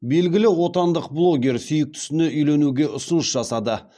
белгілі отандық блогер сүйіктісіне үйленуге ұсыныс жасады